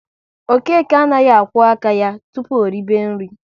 Okeke anaghị akwo aka ya tụpụ o ribe nri